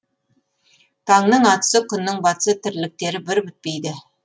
таңның атысы күннің батысы тірліктері бір бітпейді